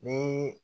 Ni